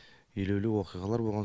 елеулі оқиғалар болған